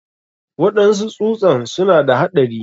Waɗansu tsusan suna da haɗari.